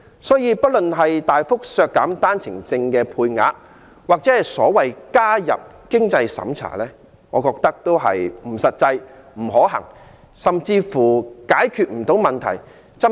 所以，不論是大幅削減單程證配額或所謂"加入經濟審查"機制，我覺得都不切實際、不可行，甚至解決不到問題。